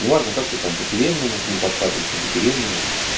неважно как ты там по тюремному к ней подкатываешь не по тюремному